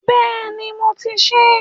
Bẹ́ẹ̀ni, mo ti ṣe é.